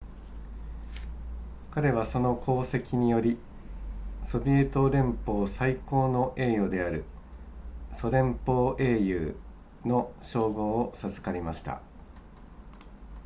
彼はその功績によりソビエト連邦最高の栄誉であるソ連邦英雄の称号を授かりました